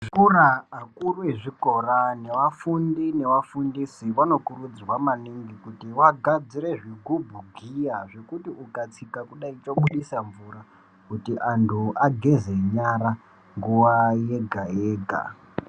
Zvikora akuru ezvikora nevafundi nevafundisi vanokurudzirwa maningi kuti vagadzire zvigubhu giya zvekuti ukatsika kudaya zvobudisa mvura kuti antu ageze nyara nguwa yega yega.